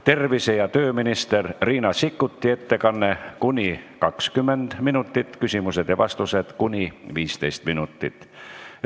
Tervise- ja tööminister Riina Sikkuti ettekanne kuni 20 minutit, küsimused ja vastused kuni 15 minutit.